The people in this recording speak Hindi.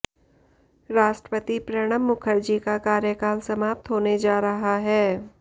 राष्ट्रपति प्रणब मुखर्जी का कार्यकाल समाप्त होने जा रहा है